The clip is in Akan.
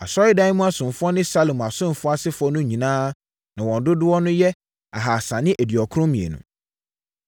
Asɔredan mu asomfoɔ ne Salomo asomfoɔ asefoɔ no nyinaa na wɔn dodoɔ yɛ 2 392